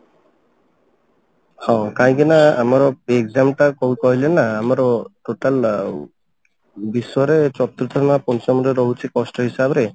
ହଉ କାହିଁକି ନା ଆମର exam ଟା କଣ କହିଲେ ନା ଆମର total ଆ ବିଶ୍ଵରେ ଚତୁର୍ଥ ନା ପଞ୍ଚମ ରେ ରହୁଛି କଷ୍ଟ ହିସାବରେ